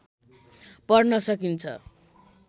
पढ्न सकिन्छ